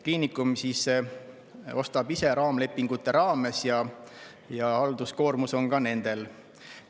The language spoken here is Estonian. Kliinikum ostab ise raamlepingute raames ja halduskoormus on ka nendel.